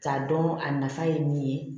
K'a dɔn a nafa ye min ye